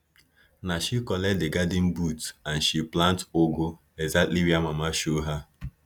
na she collect di garden boot and she plant ugu exactly where mama show her